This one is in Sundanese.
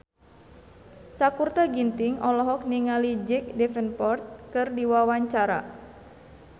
Sakutra Ginting olohok ningali Jack Davenport keur diwawancara